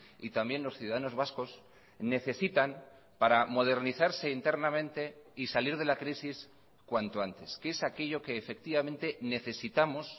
y también los ciudadanos vascos necesitan para modernizarse internamente y salir de la crisis cuanto antes qué es aquello que efectivamente necesitamos